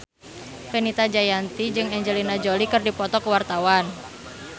Fenita Jayanti jeung Angelina Jolie keur dipoto ku wartawan